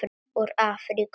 Úr Afríku!